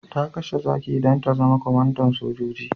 Ta kashe zaki don ta zama kwamandan sojoji.